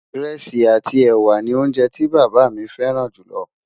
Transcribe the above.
írèsì àti ẹwà ní oúnjẹ tí bàbá mí fẹràn jù ló